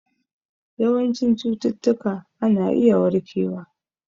Yawancin cututtuka ana iya warkewa